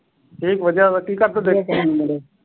ਠੀਕ ਵਧੀਆ ਵਾ ਕੀ ਕਰਦੇ ਤੁਸੀ?